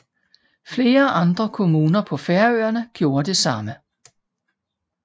Flere andre kommuner på Færøerne gjorde det samme